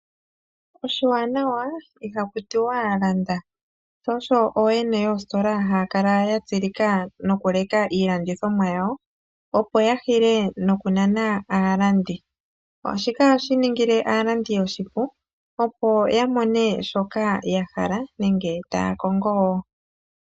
Oshiwanawa ihaku tiwa landa . Sho osho ooyene yoosikola haya kala yatsilika nokuleka iilandithomwa yawo , opo yahile nokunana aalandi . Shika ohashi ningile aalandi oshipu, opo yamone shoka yahala nenge taya kongo.